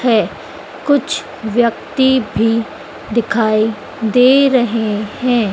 है कुछ व्यक्ति भी दिखाई दे रहे हैं।